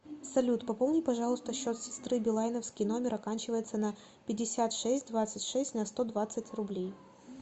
салют пополни пожалуйста счет сестры билайновский номер оканчивается на пятьдесят шесть двадцать шесть на сто двадцать рублей